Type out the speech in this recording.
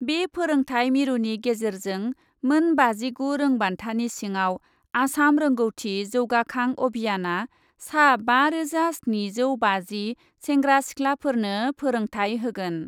बे फोरोंथाय मिरुनि गेजेरजों मोन बाजिगु रोंबान्थानि सिङाव आसाम रोंगौथि जौगाखां अभियानआ सा बारोजा स्निजौ बाजि सेंग्रा सिखलाफोरनो फोरोंथाय होगोन।